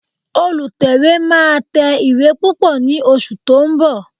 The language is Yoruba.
Olùtẹ̀wé máa tẹ ìwé púpọ̀ ní oṣù tó ń bọ̀